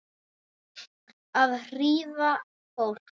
Að hrífa fólk.